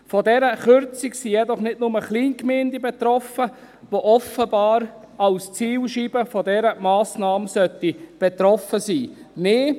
Von dieser Kürzung sind jedoch nicht nur Kleingemeinden betroffen, die offenbar als Zielscheibe von dieser Massnahme betroffen sein sollen.